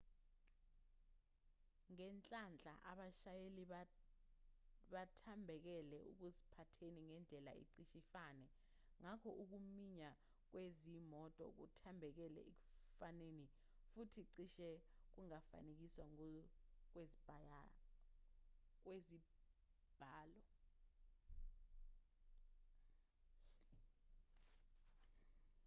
ngenhlanhla abashayeli bathambekele ekuziphatheni ngendlela ecishe ifane ngakho ukuminyana kwezimoto kuthambekele ekufaneni futhi cishe kungafanekiswa ngokwezibalo